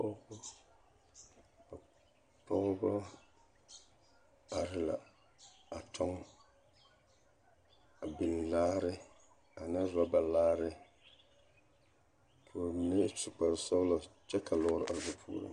Pɔgebɔ are la a tɔŋ, a biŋ laare ane rɔba laare k'o mine su kpare sɔgelɔ kyɛ ka lɔɔre are ba puoriŋ.